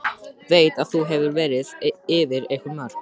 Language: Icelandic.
Veit að nú hefur verið farið yfir einhver mörk.